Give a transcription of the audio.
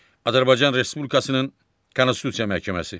Azərbaycan Respublikasının Konstitusiya Məhkəməsi.